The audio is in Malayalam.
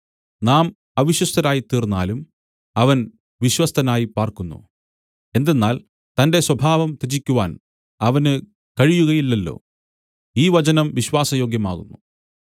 നാം അവിശ്വസ്തരായിത്തീർന്നാലും അവൻ വിശ്വസ്തനായി പാർക്കുന്നു എന്തെന്നാൽ തന്റെ സ്വഭാവം ത്യജിക്കുവാൻ അവന് കഴിയുകയില്ലല്ലോ ഈ വചനം വിശ്വാസ യോഗ്യമാകുന്നു